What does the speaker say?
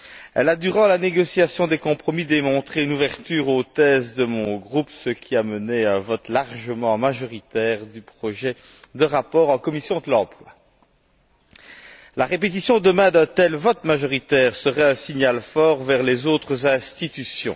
Elle a, durant la négociation des compromis, fait preuve d'ouverture vis à vis des thèses de mon groupe, ce qui a mené à un vote largement majoritaire du projet de rapport en commission de l'emploi. La répétition, demain, d'un tel vote majoritaire serait un signal fort envers les autres institutions.